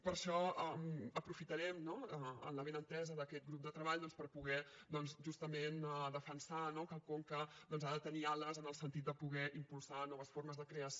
per això aprofitarem en l’avinentesa d’aquest grup de treball per poder doncs justament defensar que el conca ha de tenir ales en el sentit de poder impulsar noves formes de creació